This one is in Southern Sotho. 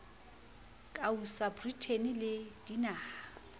ka usa britain le dinaha